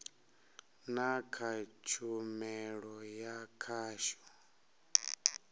na kha tshumelo ya khasho